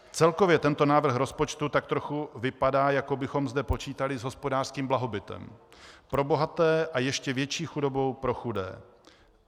Celkově tento návrh rozpočtu tak trochu vypadá, jako bychom zde počítali s hospodářským blahobytem pro bohaté a ještě větší chudobou pro chudé.